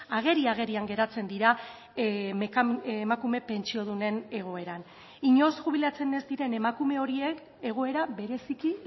ageri agerian geratzen dira emakume pentsiodunen egoeran inoiz jubilatzen ez diren emakume horiek egoera bereziki